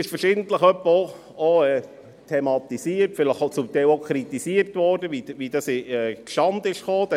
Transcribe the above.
Verschiedentlich wurde thematisiert, und vielleicht auch kritisiert, wie dieser Dialog zustande kam.